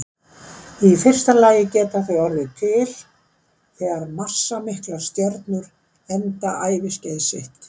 Í fyrsta lagi geta þau orðið til þegar massamiklar stjörnur enda æviskeið sitt.